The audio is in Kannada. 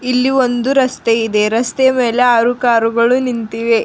ಇಲ್ಲಿ ಒಂದು ರಸ್ತೆ ಇದೆ ರಸ್ತೆ ಮೇಲೆ ಆರು ಕಾರು ಗಳು ನಿಂತಿವೆ.